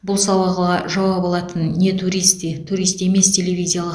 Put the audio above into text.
бұл сауалыға жауап алатын не туристы турист емес телевизиялық